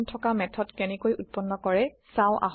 থকা মেথড কেনেকৈ উত্পন্ন কৰে চাওঁ আহক